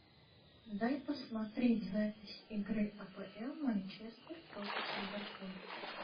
дай посмотреть запись игры апл манчестер против ливерпуля